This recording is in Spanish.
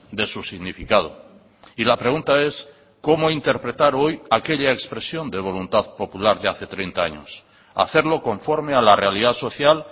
de su significado y la pregunta es cómo interpretar hoy aquella expresión de voluntad popular de hace treinta años hacerlo conforme a la realidad social